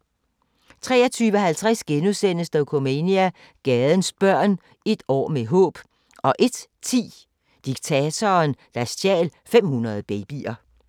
23:50: Dokumania: Gadens børn – et år med håb * 01:10: Diktatoren, der stjal 500 babyer